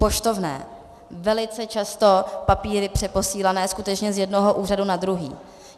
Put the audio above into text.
Poštovné - velice často papíry přeposílané skutečně z jednoho úřadu na druhý.